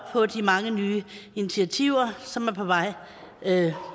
på de mange nye initiativer som er på vej